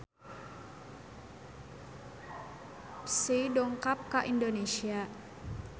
Psy dongkap ka Indonesia